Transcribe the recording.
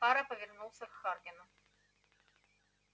фара повернулся к хардину